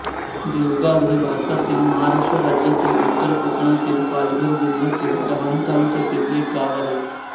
देवगाव हे भारतातील महाराष्ट्र राज्यातील उत्तर कोकणातील पालघर जिल्ह्यातील डहाणू तालुक्यातील एक गाव आहे